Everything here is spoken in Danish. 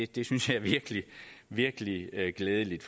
det synes jeg virkelig virkelig er glædeligt